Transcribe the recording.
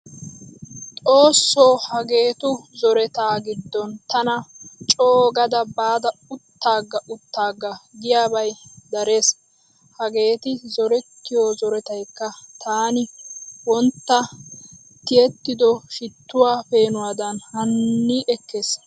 Xoosso hageetu zoretaa giddon tana coogada baada uttaaga uttaaga giyabay darees. Hageeti zorettiyo zoretaykka taani wontta tiyettido shittuwa peenuwaadan hani ekkees.